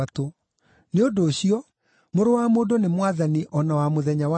Nĩ ũndũ ũcio, Mũrũ wa Mũndũ nĩ Mwathani o na wa mũthenya wa Thabatũ.”